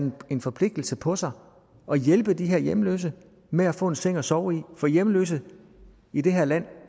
en forpligtelse på sig og hjælpe de her hjemløse med at få en seng at sove i for hjemløse i det her land